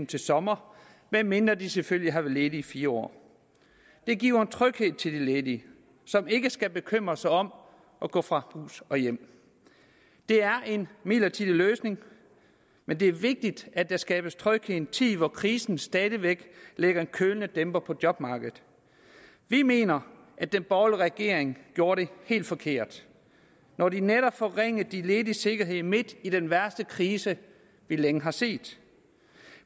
til sommer medmindre de selvfølgelig har været ledige i fire år det giver en tryghed til de ledige som ikke skal bekymre sig om at gå fra hus og hjem det er en midlertidig løsning men det er vigtigt at der skabes tryghed i en tid hvor krisen stadig væk lægger en kølende dæmper på jobmarkedet vi mener at den borgerlige regering gjorde det helt forkert når de netop forringede de lediges sikkerhed midt i den værste krise vi længe har set